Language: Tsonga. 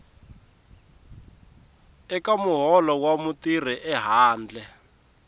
eka muholo wa mutirhi ehandle